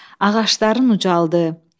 Ağacların ucaldı.